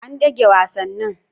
An dage wasannin.